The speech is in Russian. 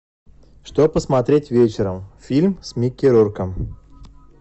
что посмотреть вечером фильм с микки рурком